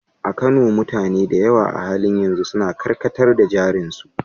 A Kano, mutane da yawa a halin yanzu suna karkatar da jarin su.